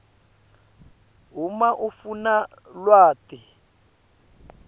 uma ufuna lwati